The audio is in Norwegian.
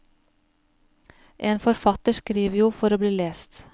En forfatter skriver jo for å bli lest.